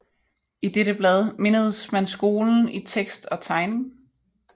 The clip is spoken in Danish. I dette blad mindedes man skolen i tekst og tegning